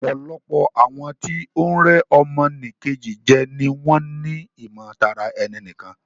Ọ̀pọ̀lọpọ̀ àwọn tí o ń rẹ́ ọmọ nì Kejì jẹ ni wọ́n ni ìmọ̀ tara ẹni nìkan.